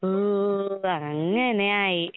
ഓ അങ്ങനെ ആയി.